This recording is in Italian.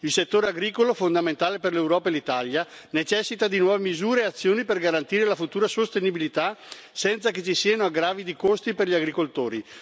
Il settore agricolo, fondamentale per l'Europa e l'Italia necessita di nuove misure e azioni per garantire la futura sostenibilità senza che ci siano aggravi di costi per gli agricoltori.